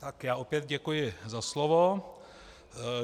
Tak já opět děkuji za slovo.